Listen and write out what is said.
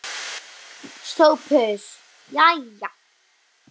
SOPHUS: Jæja!